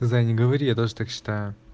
зай не говори я тоже так считаю